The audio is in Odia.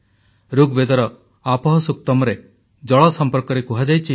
ଋଗ୍ ବେଦରେ ଆପଃ ସୁକ୍ତମ୍ରେ ଜଳ ସମ୍ପର୍କରେ କୁହାଯାଇଛି ଯେ